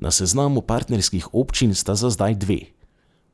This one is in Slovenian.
Na seznamu partnerskih občin sta za zdaj dve: